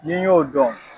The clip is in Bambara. N'i y'o dɔn